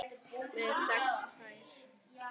Með sex tær?